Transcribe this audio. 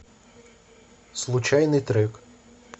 случайный трек